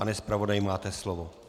Pane zpravodaji, máte slovo.